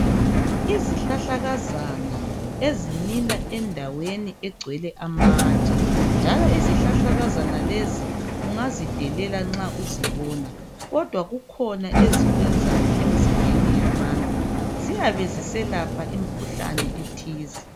Izihlahlakazana ezimila endaweni egcwele amatshe njalo izihlahlakazana lezi ungazidelela nxa uzibona kodwa kukhona ezikwenzayo emzimbeni yabantu ziyabe ziselapha imkhuhlane ethize